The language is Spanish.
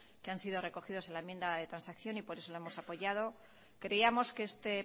que han sido recogidos en la enmienda de transacción y por eso la hemos apoyado queríamos que este